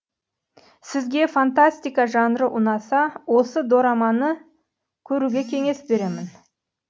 сізге фантастика жанры ұнаса осы дораманы көруге кеңес беремін